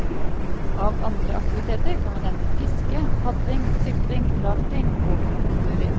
Av andre aktiviteter kan vi nevne fiske, padling, sykling, rafting og fotturer.